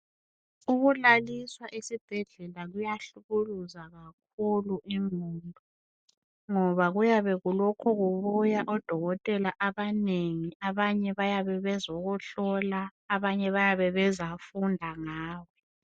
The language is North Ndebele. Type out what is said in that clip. Ukulaliswa esibhedlela kuyahlukuluza kakhulu ingqondo ngoba kuyabe kulokhe kubuya odokotela abanengi abanye bayabe bezohlola abanye bayabe bezofunda ngawe.